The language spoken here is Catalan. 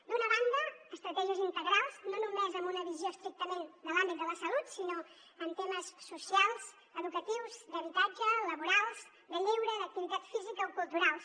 d’una banda estratègies integrals no només amb una visió estrictament de l’àmbit de la salut sinó en temes socials educatius d’habitatge laborals de lleure d’activitat física o culturals